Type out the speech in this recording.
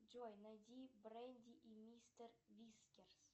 джой найди бренди и мистер вискерс